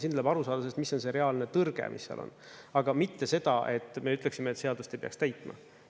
Siin tuleb aru saada sellest, mis on see reaalne tõrge, mis seal on, aga mitte seda, et me ütleksime, et seadust ei peaks täitma.